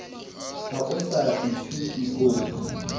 ha o sa ithuti o